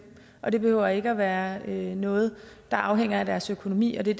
og det behøver ikke at være noget der afhænger af deres økonomi og det er